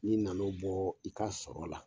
N'i na n'o bɔ i ka sɔrɔ la